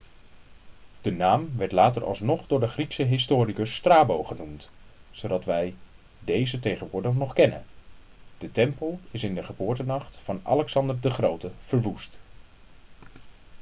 de naam werd later alsnog door de griekse historicus strabo genoemd zodat wij deze tegenwoordig nog kennen de tempel is in de geboortenacht van alexander de grote verwoest